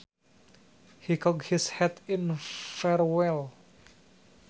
He cocked his hat in farewell